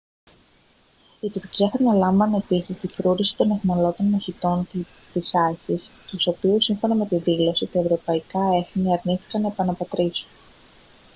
η τουρκία θα αναλάμβανε επίσης την φρούρηση των αιχμάλωτων μαχητών της isis τους οποίους σύμφωνα με τη δήλωση τα ευρωπαϊκά έθνη αρνήθηκαν να επαναπατρίσουν